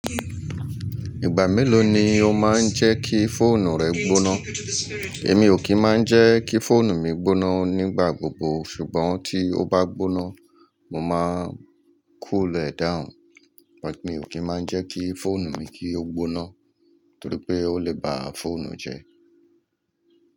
Ìgbà mélòó ni o máa ń jẹ́ kí fóònù rẹ gbóná? Èmi ò kí máa ń jẹ́ kí fóònù mi gbóná nígbà gbogbo, ṣùgbọ́n tí ó bá gbóná, mo máa cool e down. But mi ò kí máa ń jẹ́ kí fóònù mi kí ó gbóná, torí pé ó lè ba fóònù jẹ́.